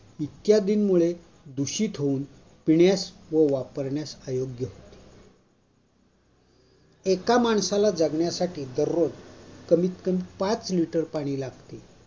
इत्यादींमुळे दूषित होऊन पिण्यास व वापरण्यास अयोग्य होते एका माणसाला जगण्यासाठी दररोज कमीतकमी पाच लिटर पाणी लागत